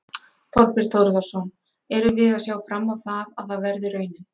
Þorbjörn Þórðarson: Erum við að sjá fram á það, að það verði raunin?